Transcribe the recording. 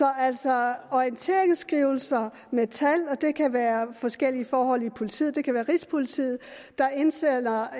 er altså orienteringsskrivelser med tal og det kan være forskellige forhold i politiet det kan være rigspolitiet der indsender